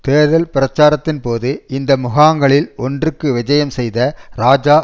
தேர்தல் பிரச்சாரத்தின் போது இந்த முகாங்களில் ஒன்றுக்கு விஜயம் செய்த இராஜா